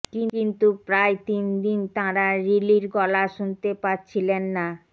কিন্তু প্রায় তিনদিন তাঁরা রিলির গলা শুনতে পাচ্ছিলেন না